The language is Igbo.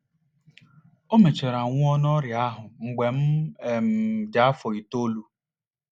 O mechara nwụọ n’ọrịa ahụ mgbe m um dị afọ itoolu.